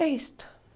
É isto.